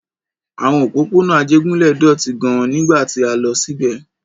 Àwọn òpópónà Ajégúnlẹ̀ dọ̀tí gidi gan-an nígbà tí a lọ síbẹ̀.